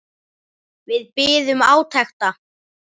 Við biðum átekta.